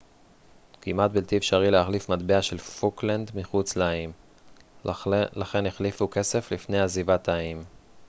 כמעט בלתי אפשרי להחליף מטבע של פוקלנד מחוץ לאיים לכן החליפו כסף לפני עזיבת האיים